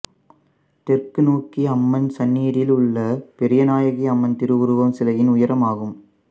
தெற்குநோக்கிய அம்மன் சன்னிதியிலுள்ள பெரியநாயகி அம்மன் திருஉருவச் சிலையின் உயரம் ஆகும்